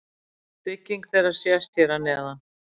Bygging þeirra sést hér að neðan.